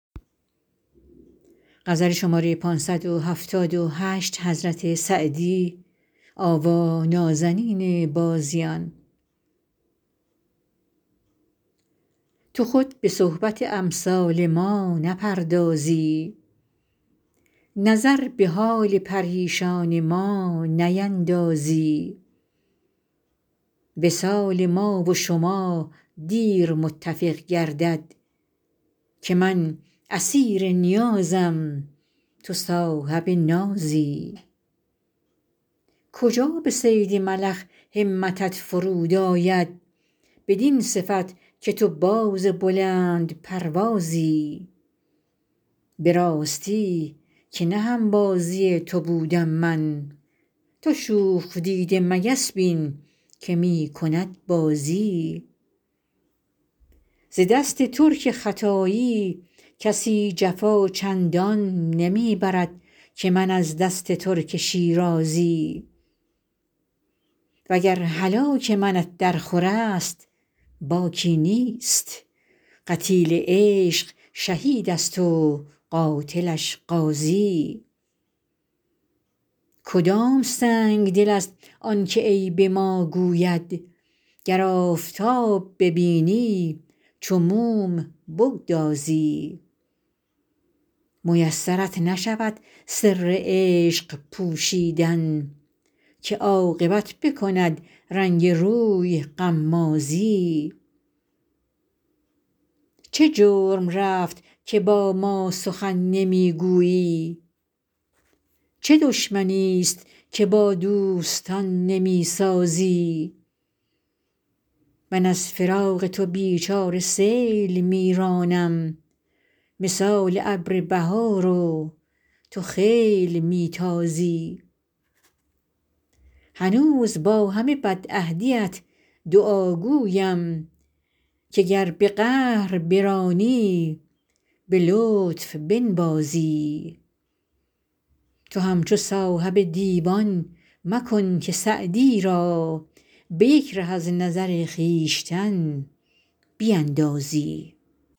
تو خود به صحبت امثال ما نپردازی نظر به حال پریشان ما نیندازی وصال ما و شما دیر متفق گردد که من اسیر نیازم تو صاحب نازی کجا به صید ملخ همتت فرو آید بدین صفت که تو باز بلندپروازی به راستی که نه هم بازی تو بودم من تو شوخ دیده مگس بین که می کند بازی ز دست ترک ختایی کسی جفا چندان نمی برد که من از دست ترک شیرازی و گر هلاک منت درخور است باکی نیست قتیل عشق شهید است و قاتلش غازی کدام سنگدل است آن که عیب ما گوید گر آفتاب ببینی چو موم بگدازی میسرت نشود سر عشق پوشیدن که عاقبت بکند رنگ روی غمازی چه جرم رفت که با ما سخن نمی گویی چه دشمنیست که با دوستان نمی سازی من از فراق تو بی چاره سیل می رانم مثال ابر بهار و تو خیل می تازی هنوز با همه بدعهدیت دعاگویم که گر به قهر برانی به لطف بنوازی تو همچو صاحب دیوان مکن که سعدی را به یک ره از نظر خویشتن بیندازی